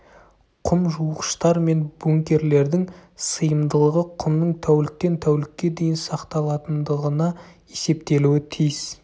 құм жуғыштар мен бункерлердің сыйымдылығы құмның тәуліктен тәулікке дейін сақталатындығына есептелуі тиіс